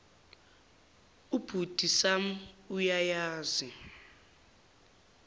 ubhuti sam uyayazi